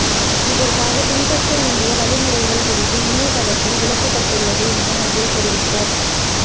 இதற்காக பின்பற்ற வேண்டிய வழிமுறைகள் குறித்து இணையதளத்தில் விளக்கப்பட்டுள்ளது என அதில் தெரிவிக்கப்